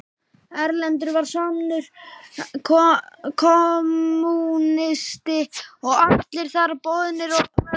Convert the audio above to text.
Erlendur var sannur kommúnisti og allir þar boðnir og velkomnir.